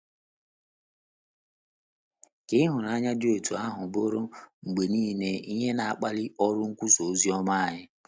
Ka ịhụnanya dị otú ahụ bụrụ mgbe nile ihe na - akpali ọrụ nkwusa ozioma anyị!